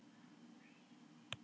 Alba sátt við líkama sinn